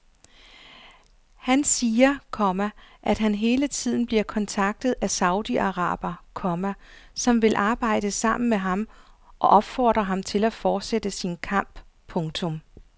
Han siger, komma at han hele tiden bliver kontaktet af saudiarabere, komma som vil arbejde sammen med ham og opfordrer ham til at fortsætte sin kamp. punktum